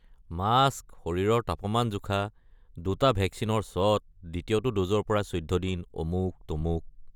Mask, শৰীৰৰ তাপমান জোখা, দুটা ভেকচিনৰ শ্বট, দ্বিতীয়টো ড'জৰ পৰা চৈধ্য দিন, অমুক-তমুক।